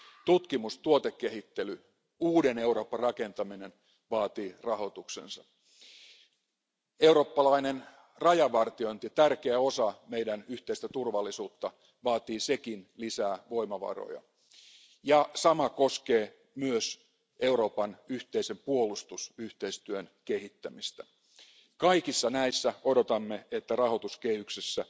Tutkimus, tuotekehittely, uuden Euroopan rakentaminen vaatii rahoituksensa. Eurooppalainen rajavartiointi, joka on tärkeä osa meidän yhteistä turvallisuuttamme, vaatii sekin lisää voimavaroja. Sama koskee myös Euroopan yhteisen puolustusyhteistyön kehittämistä. Kaikissa näissä odotamme, että rahoituskehyksessä